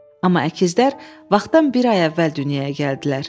Amma əkizlər vaxtdan bir ay əvvəl dünyaya gəldilər.